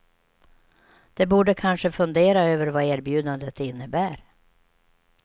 De borde kanske fundera över vad erbjudandet innebär.